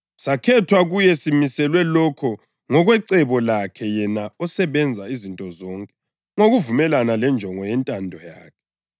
Sakhethwa kuye, + 1.11 kumbe saba zindlalifa simiselwe lokho ngokwecebo lakhe yena osebenza izinto zonke ngokuvumelana lenjongo yentando yakhe,